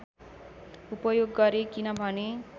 उपयोग गरे किनभने